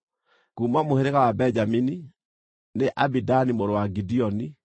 kuuma mũhĩrĩga wa Benjamini, nĩ Abidani mũrũ wa Gideoni;